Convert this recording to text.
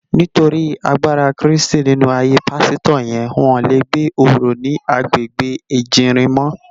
Nitóri àgbárá Kristi ninú àáyé pàsitò yèn wòn lé gbé óró ni àgbégbé Ejirin mò